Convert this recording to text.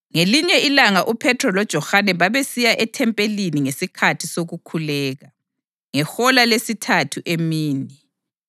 Ngelinye ilanga uPhethro loJohane babesiya ethempelini ngesikhathi sokukhuleka, ngehola lesithathu emini.